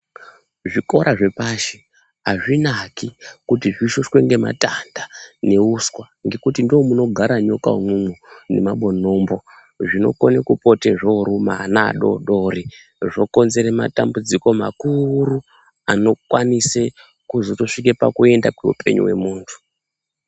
Zvikora zvepashi azvinaki kuti zvishushwe ngematanda ngeuswa ngekuti ndoo munogara nyoka imwomo nemabonombo zvinokone kupota zvooruma ana adoodori zvokonzere matambudziko makuuru anokwanise kuzotosvike pakuenda koupenyu womuntu.